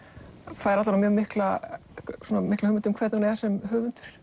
fær alla vega mikla mikla hugmynd um hvernig hún er sem höfundur